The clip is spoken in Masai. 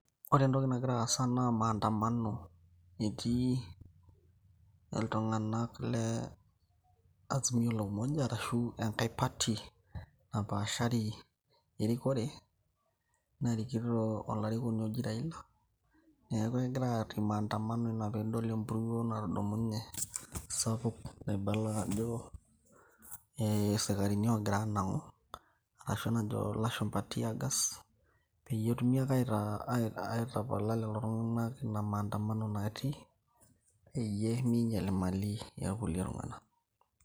Ore entoki nagira aasa naa maandamano etii iltung'anaka le azimio la umoja arashu enkae party napaashari erikore narikito olarikoni oji Raila neeku ekegira atii maandamano ina piidol empuruo natudumunye sapuk naibala ajo isikarini ogira anang'u arashu enajo ilashumpa teargas peyie etumi ake aitapala lelo tung'anak ina maandamano natii peyie minyial imali ekulie tung'anak.